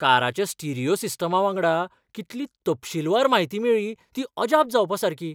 काराच्या stereo सिस्टमा वांगडा कितली तपशीलवार म्हायती मेळ्ळी ती अजाप जावपासारकी.